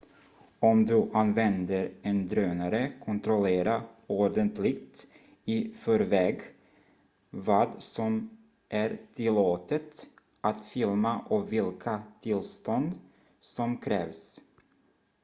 om du använder en drönare kontrollera ordentligt i förväg vad som är tillåtet att filma och vilka tillstånd som krävs